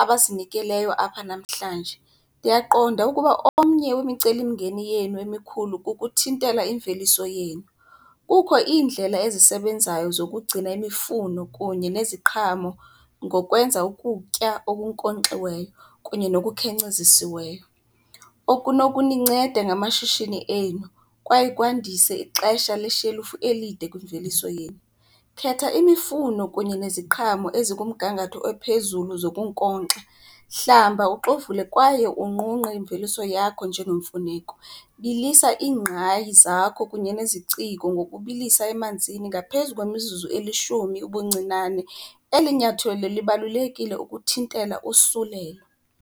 abazinikeleyo apha namhlanje. Ndiyaqonda ukuba omnye wemicelimngeni yenu emikhulu kukuthintela imveliso yenu. Kukho iindlela ezisebenzayo zokugcina imifuno kunye neziqhamo ngokwenza ukutya okunkonkxiweyo kunye nokukhenkcezisiweyo okunokuninceda ngamashishini enu kwaye kwandise ixesha le shelufu elide kwimveliso yenu. Khetha imifuno kunye neziqhamo ezikumgangatho ophezulu zokunkonxa, hlamba uxovule kwaye unqunqe imveliso yakho njengemfuneko. Bilisa iingqayi zakho kunye neziciko ngokubilisa emanzini ngaphezu kwemizuzu elishumi ubuncinane. Eli nyathelo libalulekile ukuthintela usulelo.